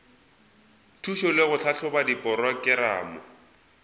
thušo le go tlhahloba diporokerama